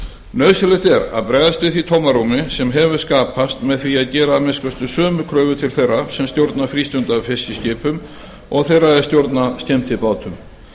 nauðsynlegt er að bregðast við því tómarúmi sem hefur skapast með því að gera að minnsta kosti sömu kröfur til þeirra sem stjórna frístundafiskiskipum og þeirra er stjórna skemmtibátum